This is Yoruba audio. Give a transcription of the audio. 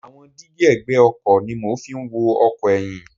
Àwọn dígí ẹ̀gbẹ́ ọkọ̀ ni mo fi ń wo ọkọ̀ ẹyin.